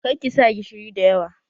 Kar ki sa gishiri da yawa!